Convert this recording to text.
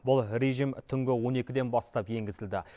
бұл режим түнгі он екіден бастап енгізілді